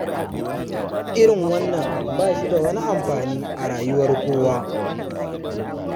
Irin wannan ba shi da wani amfani a rayuwar kowa.